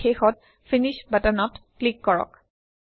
আৰু শেষত ফিনিশ বাটনত ক্লিক কৰক